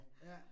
Ja